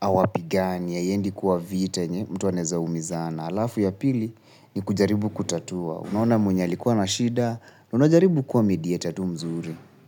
awapigania, haiendi kuwa vita yenye, mtu anaeza umizana. Na alafu ya pili ni kujaribu kutatua. Unaona mwenye alikuwa na shida. Unajaribu kuwa mediator tu mzuri.